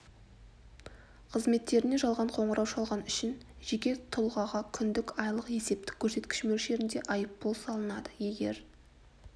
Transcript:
қызметтеріне жалған қоңырау шалған үшін жеке тұлғаға күндік айлық есептік көрсеткіш мөлшерінде айыппұл салынады егер